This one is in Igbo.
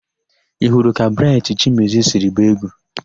Ị hụrụ ka Braịtị Chimezie siri gbaa égwú?